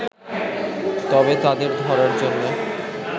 তবে তাদের ধরার জন্যে